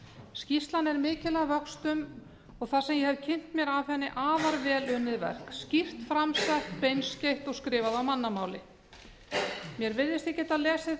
skýrslan er mikil að vöxtum og það sem ég hef kynnt mér af henni afar vel unnið verk skýrt fram sett beinskeytt og skrifuð af mannamáli mér virðist ég geta lesið það út